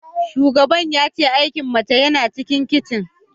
Shugaban ya ce aikin mace yana cikin kicin